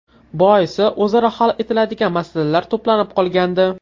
Boisi o‘zaro hal etiladigan masalalar to‘planib qolgandi.